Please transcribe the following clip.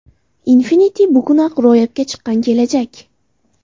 Infinity bugunoq ro‘yobga chiqqan kelajak!